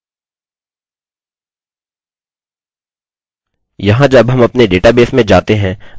हम देख सकते हैं कि दिनाँक उल्लिखित फ़ॉर्मेट में है यहाँ यदि हम इस तरह का फंक्शन इस्तेमाल करते हैं